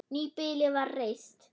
Nýbýli var reist.